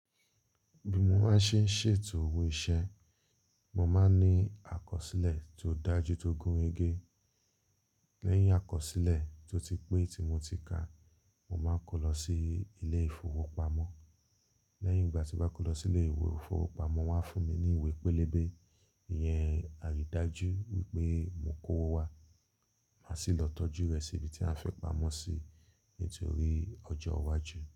Bí mo maa se ń ṣètò owó iṣẹ́, mo máa ń ní àkọsílẹ̀ tó dájú tó gún rẹgẹ́. Lẹ́yìn àkọsílẹ̀ tó ti pé tí mo ti kà, mo máa ń kó lọ sí ilé ìfowópamọ́. Lẹ́yìn ìgbà tí mo bá kó lọ sí ilé ìfowópamọ́, wọ́n á fún mi ní ìwé pélébé. Ìyẹn àrídájú wípé mo kó owó wá, màá sì lọ tọ́jú rẹ̀ sí ibi tí a fẹ́ pamọ́ sí nítorí ọjọ́ iwájú.